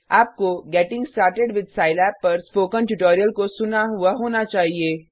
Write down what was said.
आपको getting started with Scilab पर spoken tutorial को सुना हुआ होना चाहिए